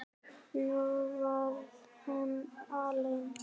Nú var hún alein.